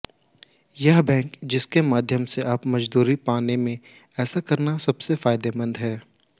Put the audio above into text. यह बैंक जिसके माध्यम से आप मजदूरी पाने में ऐसा करना सबसे फायदेमंद है